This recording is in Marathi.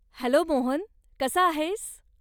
हॅलो मोहन, कसा आहेस?